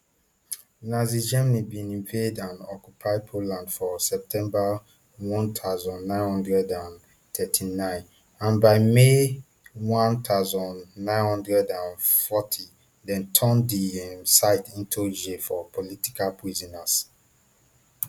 nazi germany bin invade and occupy poland for september one thousand, nine hundred and thirty-nine and by may one thousand, nine hundred and forty dem turn di um site into jail for political prisoners